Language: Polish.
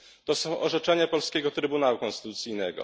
To są orzeczenia polskiego Trybunału Konstytucyjnego.